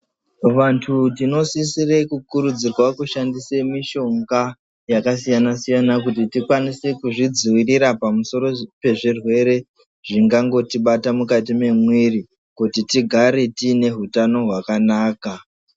Vantu tinosisira kukurudzirwa kushandisa mushonga yakasiyana-siyana kuti tikwanise kuzvidzivirira pamusoro pezvirwere zvengangotibata pakati pemwiri kuti tigare tine hutano hwakanaka.